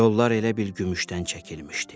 Yollar elə bil gümüşdən çəkilmişdi.